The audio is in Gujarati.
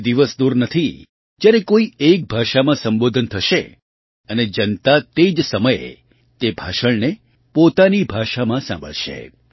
એ દિવસ દૂર નથી જ્યારે કોઈ એક ભાષામાં સંબોધન થશે અને જનતા તે જ સમયે તે ભાષણને પોતાની ભાષામાં સાંભળશે